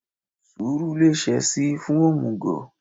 sùúrù le ṣe sí fún omúgò